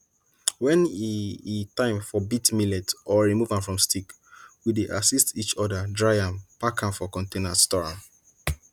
when e e time for beat millet or remove am from stick we dey assist each other dry am pack am for container store am